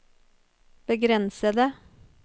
begrensede